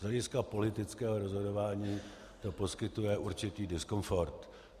Z hlediska politického rozhodování to poskytuje určitý diskomfort.